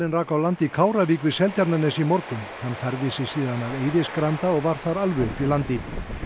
rak á land í Kárvík við Seltjarnarnes í morgun hann færði sig síðan að Eiðisgranda og var þar alveg uppi í landi